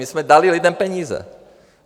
My jsme dali lidem peníze.